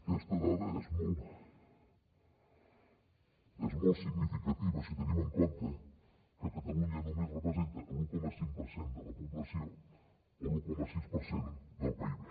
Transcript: aquesta dada és molt significativa si tenim en compte que catalunya només representa l’un coma cinc per cent de la població o l’un coma sis per cent del pib